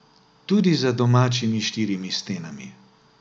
Tudi za domačimi štirimi stenami.